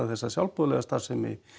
þessa sjálfboðaliða starfsemi